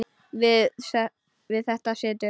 Við þetta situr.